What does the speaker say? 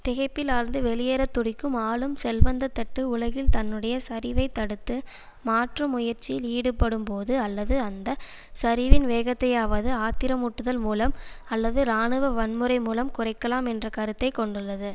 திகைப்பில் ஆழ்ந்து வெளியேற துடிக்கும் ஆளும் செல்வந்த தட்டு உலகில் தன்னுடைய சரிவைத் தடுத்து மாற்றும் முயற்சியில் ஈடுபடும்போது அல்லது அந்த சரிவின் வேகத்தையாவது ஆத்திரமூட்டுதல் மூலம் அல்லது இராணுவ வன்முறை மூலம் குறைக்கலாம் என்ற கருத்தை கொண்டுள்ளது